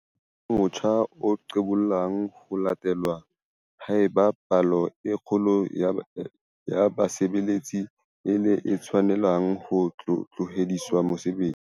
Ona e tla ba motjha o qobellang ho latelwa haeba palo e kgolo ya basebeletsi e le e tshwanelang ho tlohediswa mosebetsi.